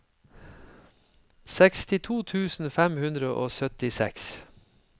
sekstito tusen fem hundre og syttiseks